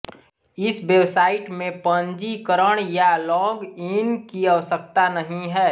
इस वेबसाइट में पंजीकरण या लॉग इन की आवश्यकता नहीं है